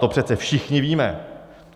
To přece všichni víme.